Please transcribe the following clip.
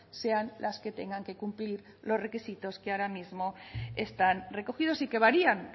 sean las que tengan que cumplir los requisitos que ahora mismo están recogidos y que varían